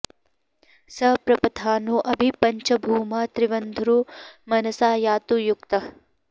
स पप्रथानो अभि पञ्च भूमा त्रिवन्धुरो मनसा यातु युक्तः